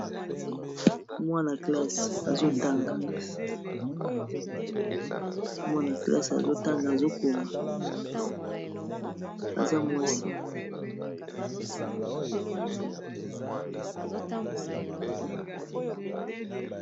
Mwana klasse azotanga azokoma aza mwasi.